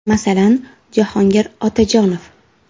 Masalan, Jahogir Otajonov?